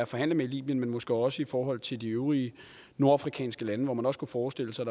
forhandle med i libyen men måske også i forhold til de øvrige nordafrikanske lande hvor man også kunne forestille sig